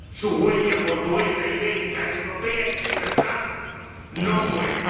Su huella portuguesa, ibérica, europea y universal no muere.